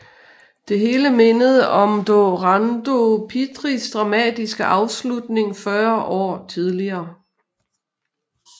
Det hele mindede om Dorando Pietris dramatiske afslutning 40 år tidligere